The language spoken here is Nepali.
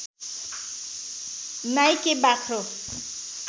नाइके बाख्रो